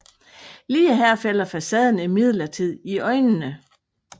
Lige her falder facaden imidlertid i øjnene